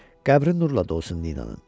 Qəbr nurla dolsun Ninanın.